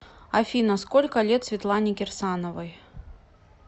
афина сколько лет светлане кирсановой